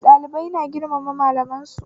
Ɗalibai na girmama malaman su